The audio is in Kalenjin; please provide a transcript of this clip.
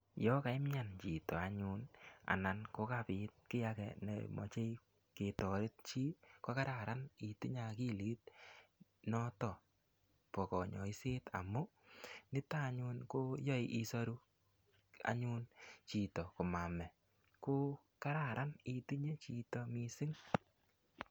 Ya kaimian chito anyun anan ko kapit ki age ne mache ketaret chi ko kararan itinye akilit notok pa kanyaiset amu nitok anyun ko yae isaru anyun chito ko mame. Ko kararan itinye chito missing'.